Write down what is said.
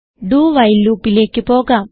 dowhile loopലേക്ക് പോകാം